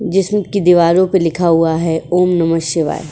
जिसमें दीवारों पर लिखा हुआ है ओम नमः शिवाय।